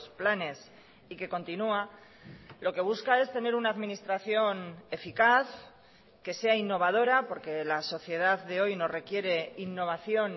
planes y que continúa lo que busca es tener una administración eficaz que sea innovadora porque la sociedad de hoy nos requiere innovación